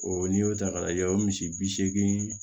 O n'i y'o ta k'a lajɛ o misi bi seegin